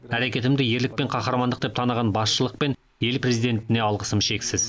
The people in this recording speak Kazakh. әрекетімді ерлік пен қаһармандық деп таныған басшылық пен ел президентіне алғысым шексіз